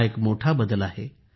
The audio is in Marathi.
हा एक मोठा बदल आहे